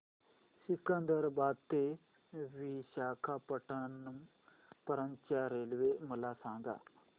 सिकंदराबाद ते विशाखापट्टणम पर्यंत च्या रेल्वे मला सांगा